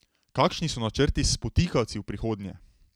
Kakšni so načrti s spotikavci v prihodnje?